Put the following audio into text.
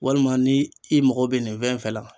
Walima ni i mago bɛ nin fɛn fɛn la.